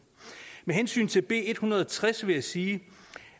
med hensyn til b en hundrede og tres vil jeg sige